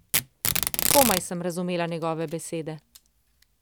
Komaj sem razumela njegove besede.